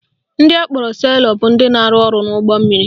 Ndị akpọrọ sailor bụ ndị na-arụ ọrụ n'ụgbọ mmiri